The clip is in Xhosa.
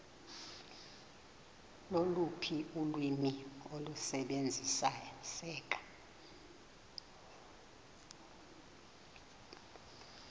loluphi ulwimi olusebenziseka